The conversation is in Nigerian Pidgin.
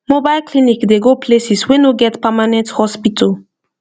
mobile clinic dey go places wey no get permanent hospital